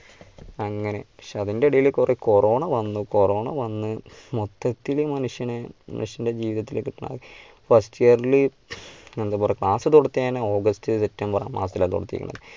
അങ്ങനെ പക്ഷേ അതിൻറെ ഇടയിൽ കുറെ കൊറോണ വന്ന്, കൊറോണ വന്ന് മൊത്തത്തിലും മനുഷ്യനെ മനുഷ്യൻറെ ജീവിതത്തിലേക്ക് first year ല് എന്താ പറയാ class തൊടത്ത് തന്നെ august september മാസത്തിലാ